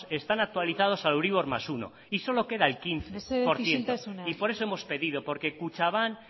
están actualizados al euribor más uno y solo queda el quince por ciento mesedez isiltasuna por eso hemos pedido porque kutxabank